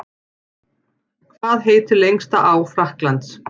Hvað heitir lengsta á Frakklands?